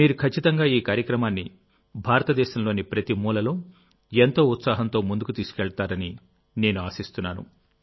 మీరు ఖచ్చితంగా ఈ కార్యక్రమాన్ని భారతదేశంలోని ప్రతి మూలలో ఎంతో ఉత్సాహంతో ముందుకు తీసుకెళ్తారని నేను ఆశిస్తున్నాను